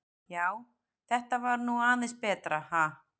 Já, þetta var nú aðeins betra, ha!